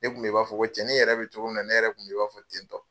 Ne kun bɛ i b'a fɔ ko cɛnin yɛrɛ bɛ cogomi na ne yɛrɛ kun bɛ i b'a fɔ tentɔ.